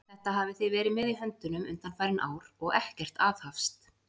Þetta hafið þið verið með í höndunum undanfarin ár, og ekkert aðhafst!